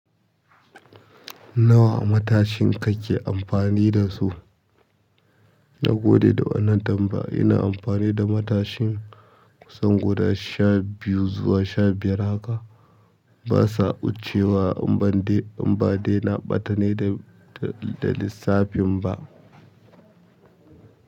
Nawa matashin kake amfani da su? Na gade da wannan tambaya. Ina amfani da matashin kusan guda sha biyu zuwa sha biyar haka. Ba sa ɓaccewa, in ba dai na ɓata ne da, da lissafin ba.